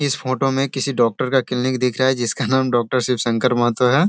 इस फोटो में किसी डॉक्टर का क्लिनिक दिख रह है जिसका नाम डॉक्टर शिव शंकर महतो है।